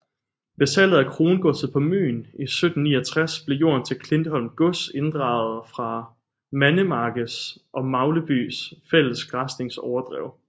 Ved salget af krongodset på Møn i 1769 blev jorden til Klintholm Gods inddraget fra Mandemarkes og Maglebys fælles græsningsoverdrev